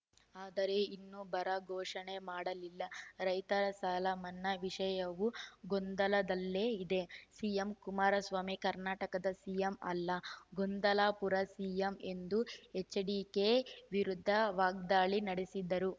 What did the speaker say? ಆದರೆ ಇನ್ನೂ ಬರ ಘೋಷಣೆ ಮಾಡಲ್ಲಿಲ ರೈತರ ಸಾಲ ಮನ್ನಾ ವಿಷಯವೂ ಗೊಂದಲದಲ್ಲೇ ಇದೆ ಸಿಎಂ ಕುಮಾರಸ್ವಾಮಿ ಕರ್ನಾಟಕದ ಸಿಎಂ ಅಲ್ಲ ಗೊಂದಲಾಪುರ ಸಿಎಂ ಎಂದು ಎಚ್‌ಡಿಕೆ ವಿರುದ್ದ ವಾಗ್ದಾಳಿ ನಡೆಸಿದರು